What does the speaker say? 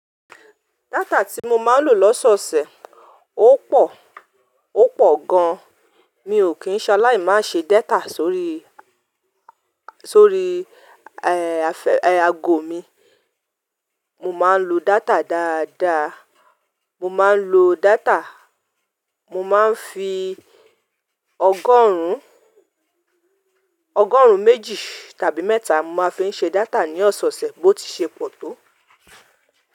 Data tí mo máa ń lò lọ́sọ̀ọ̀sẹ̀ ó pọ̀, ó pọ̀ gan. Mi ò kí ń ṣaláì má ṣe data sórí, sórí, aago mi. Mo máa ń lo data dáadáa, mo máa ń lo data, mo máa ń fi ọgọ́rùn, ọgọ́rùn méjì tàbí mẹ́ta mo máa ń fi ṣe data ní ọ̀sọ̀ọ̀sẹ̀ bó ti ṣe pọ̀ tó.